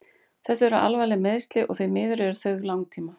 Þetta eru alvarleg meiðsli og því miður eru þau langtíma.